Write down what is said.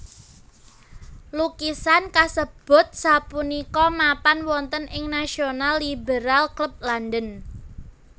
Lukisan kasebut sapunika mapan wonten ing National Liberal Club London